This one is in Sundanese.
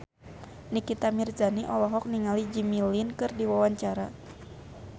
Nikita Mirzani olohok ningali Jimmy Lin keur diwawancara